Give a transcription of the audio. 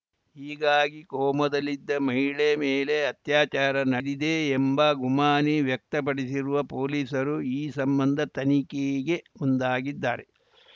ಹೀಗಾಗಿ ಕೋಮಾದಲ್ಲಿದ್ದ ಮಹಿಳೆ ಮೇಲೆ ಅತ್ಯಾಚಾರ ನಡೆದಿದೆ ಎಂಬ ಗುಮಾನಿ ವ್ಯಕ್ತಪಡಿಸಿರುವ ಪೊಲೀಸರು ಈ ಸಂಬಂಧ ತನಿಖೆಗೆ ಮುಂದಾಗಿದ್ದಾರೆ